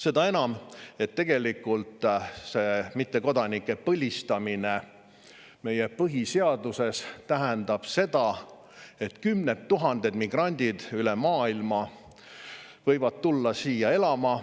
Seda enam, et tegelikult see mittekodanike põlistamine meie põhiseaduses tähendab, et kümned tuhanded migrandid üle maailma võivad tulla siia elama.